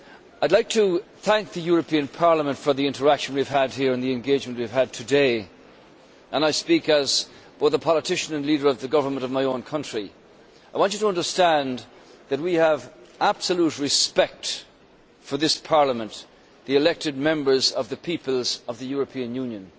I would like to thank the European Parliament for the interaction and engagement we have had here today. I speak as both the politician and leader of the government of my own country. I want you to understand that we have absolute respect for this Parliament, the elected Members of the peoples of the European Union.